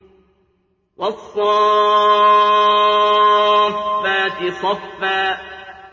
وَالصَّافَّاتِ صَفًّا